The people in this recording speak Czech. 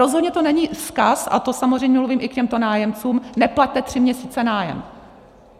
Rozhodně to není vzkaz - a to samozřejmě mluvím i k těmto nájemcům - neplaťte tři měsíce nájem.